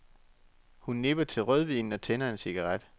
Hun nipper til rødvinen og tænder en cigaret.